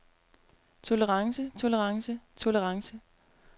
tolerance tolerance tolerance